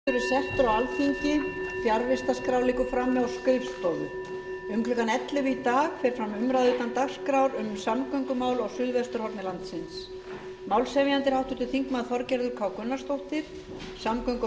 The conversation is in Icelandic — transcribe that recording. um klukkan ellefu í dag fer fram umræða utan dagskrár um samgöngumál á suðvesturhorni landsins málshefjandi er háttvirtur þingmaður þorgerður k gunnarsdóttir samgöngu og